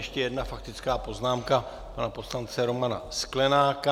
Ještě jedna faktická poznámka pana poslance Romana Sklenáka.